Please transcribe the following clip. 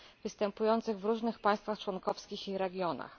występujących w różnych państwach członkowskich i regionach.